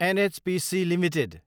NHPC Ltd